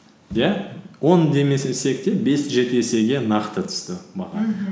иә он те бес жеті есеге нақты түсті